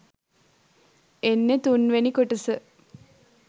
එන්නෙ තුන්වෙනි කොටස